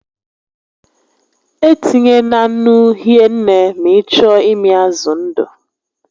E tinyena nnu hie nne ma ị chọọ ịmị azụ ndụ